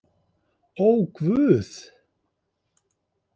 Ó, Guð!